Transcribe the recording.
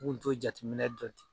N kunto jateminɛ dɔn ten